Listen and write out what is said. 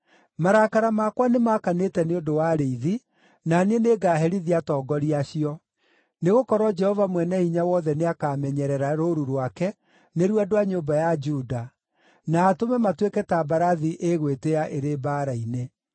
“Marakara makwa nĩmakanĩte nĩ ũndũ wa arĩithi, na niĩ nĩngaherithia atongoria acio; nĩgũkorwo Jehova Mwene-Hinya-Wothe nĩakamenyerera rũũru rwake, nĩruo andũ a nyũmba ya Juda, na atũme matuĩke ta mbarathi ĩgwĩtĩĩa ĩrĩ mbaara-inĩ.